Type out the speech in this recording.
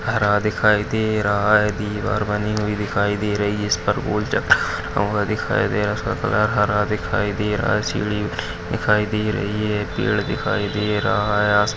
हरा दिखाई दे रहा है। दीवार बनी हुई दिखाई दे रही है। जिसपर दिखाई दे रहा है। उसका कलर हरा दिखाई दे रहा है। सीडी दिखाई दे रही है। पेड़ दिखाई दे रहा है।